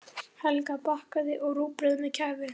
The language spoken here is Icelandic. Helga bakaði, og rúgbrauð með kæfu.